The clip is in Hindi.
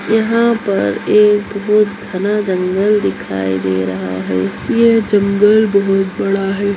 यहाँ पर एक बहुत घना जंगल दिखाई दे रहा है यह जंगल बहुत बड़ा है।